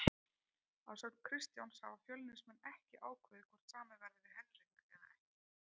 Að sögn Kristjáns hafa Fjölnismenn ekki ákveðið hvort samið verði við Henrik eða ekki.